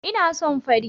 Ina son fari